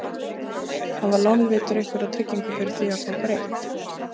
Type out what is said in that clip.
Hafa lánveitendur einhverja tryggingu fyrir því að fá greitt?